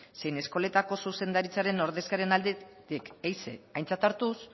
zein eskoletako zuzendaritzaren ordezkarien aldetik ehize aintzat hartuz